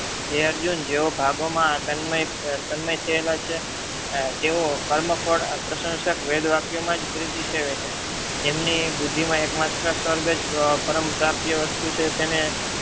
હે અર્જુન જેવો ભાગોમાં તન્મય થયેલા છે. તેઓ કર્મ ફળ પ્રસંશક વેદવાક્યમાં પ્રિતીસેવે છે. જેમને બુદ્ધિમાં એકમાત્ર સ્વર્ગ જ પરમપ્રાપ્ય વસ્તુ છે તેને